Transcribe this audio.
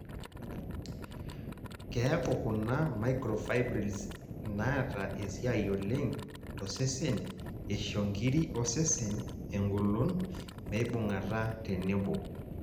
keeku kuna microfibrils inaata esiai oleng tosesen isho nkiri osesen egolon meibungata tenebo